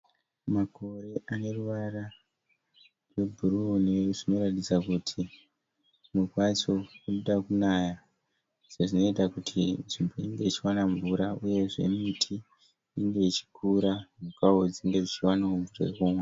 Makore ane ruvara rwebhuruu zvinoratidza kuti kunoda kunaya zvinoita kuti nzvimbo inge ichiwana mvura uyezve miti inenge ichikura mhukawo dzinenge dzichiwana mvura yokumwa.